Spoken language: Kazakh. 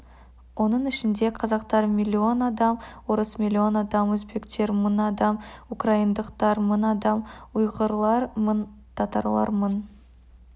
оның ішінде қазақтар миллион адам орыс миллион адам өзбектер мың адам украиндықтар мың адам ұйғырлар мың татарлар мың